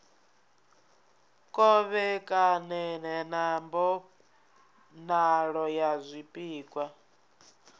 kovhekane sa mbonalo ya zwipikwa